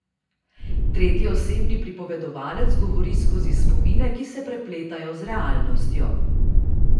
Tretjeosebni pripovedovalec govori skozi spomine, ki se prepletajo z realnostjo.